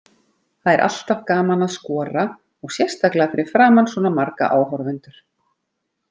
Það er alltaf gaman að skora og sérstaklega fyrir framan svona marga áhorfendur.